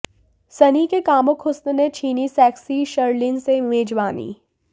सन्नी के कामुक हुस्न ने छीनी सेक्सी शर्लिन से मेजबानी